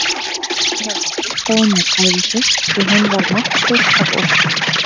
Inga varð að hjálpa honum að klæða sig því hann var máttlaus af ótta.